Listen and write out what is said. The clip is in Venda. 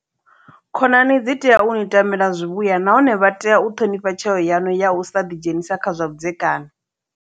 Khonani dzi tea u ni tamela zwivhuya nahone vha tea u ṱhonifha tsheo yaṋu ya u sa ḓidzhenisa kha zwa vhudzekani.